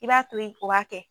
I b'a to yen o b'a kɛ